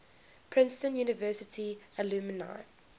princeton university alumni